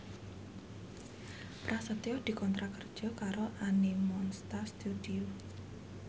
Prasetyo dikontrak kerja karo Animonsta Studio